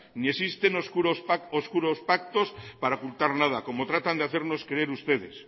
ni existen oscuros pactos para ocultar nada como tratan de hacernos creen ustedes